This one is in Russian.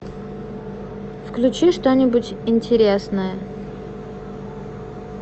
включи что нибудь интересное